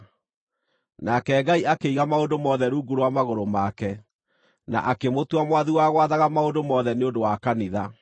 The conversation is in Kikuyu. Nake Ngai akĩiga maũndũ mothe rungu rwa magũrũ make, na akĩmũtua mwathi wa gwathaga maũndũ mothe nĩ ũndũ wa kanitha.